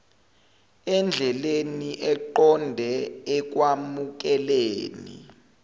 endleleni eqonde ekwamukeleni